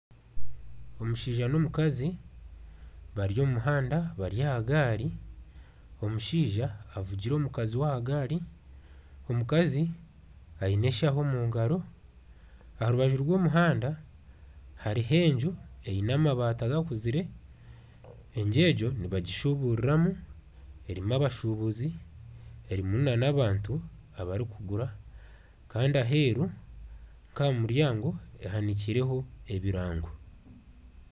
Omushaija n'omukazi bari omu muhanda bari aha gaari, omushaija avugire omukakazi we aha gaari, omukazi aine eshaaho omu ngaaro aha rubaju rw'omuhanda hariho enju eine amabati gakuzire, enju egyo nibagishuburiramu erimu abashubuzi erimu nana abantu abarikugura kandi aheeru nk'aha muryango ehanikireho ebirango